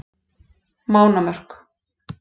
Mánamörk